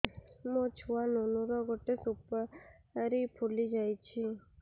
ମୋ ଛୁଆ ନୁନୁ ର ଗଟେ ସୁପାରୀ ଫୁଲି ଯାଇଛି